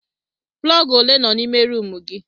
Plọg ole nọ n'ime rumụ gị.